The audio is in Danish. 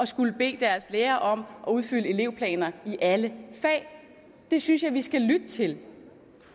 skulle bede deres lærere om at udfylde elevplaner i alle fag det synes jeg vi skal lytte til